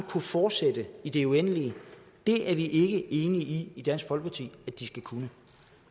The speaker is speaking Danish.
kunne fortsætte i det uendelige det er vi ikke enige i i dansk folkeparti at de skal kunne